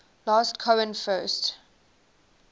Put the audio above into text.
last cohen first